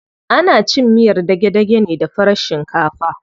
Ana cin miyar dage-dage da farar shinkafa.